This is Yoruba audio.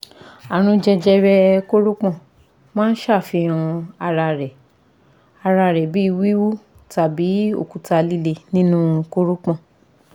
Àrùn jẹjẹrẹ koropon maa n ṣafihan ara rẹ ara rẹ bi wiwu tabi okuta lile ninu koropon